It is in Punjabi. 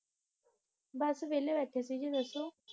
ਬੱਸ ਵੇਲ਼ੇ ਬੈਠੇ ਸੀ ਜੀ ਦੱਸੋ